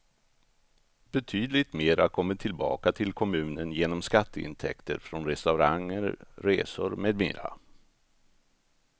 Betydligt mera kommer tillbaka till kommunen genom skatteintäkter från restauranger, resor med mera.